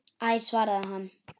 Æ svaraði hann.